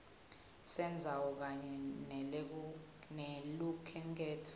sendzawo kanye nelukhenkhetfo